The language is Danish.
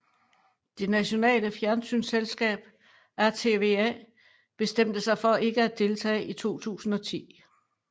Det nationale fjernsynsselskab RTVA bestemte sig for ikke at deltage i 2010